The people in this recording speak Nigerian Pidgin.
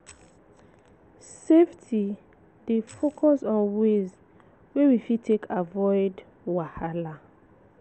Safety dey focus on ways wey we fit take avoid wahala